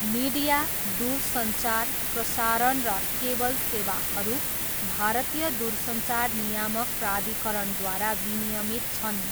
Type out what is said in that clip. Media, दूरसञ्चार, प्रसारण र केबल सेवाहरू भारतीय दूरसञ्चार नियामक प्राधिकरणद्वारा विनियमित छन्।